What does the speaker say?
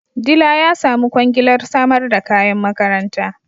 Dila ya samu kwangilar samar da kayan makaranta